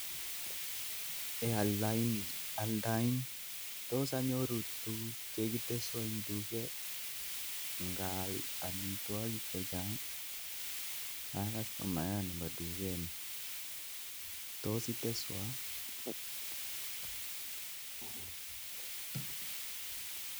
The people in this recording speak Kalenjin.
Tos anyoru tuguk chekitesuan en duket ngaal amitwokik chechang akastumayat nebo dukengung tos itesuan.